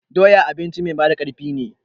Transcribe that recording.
Doya abinci mai ba da ƙarfin ne